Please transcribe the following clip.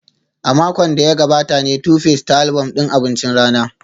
A makon da ya gabata ne Tuface ta album din abincin rana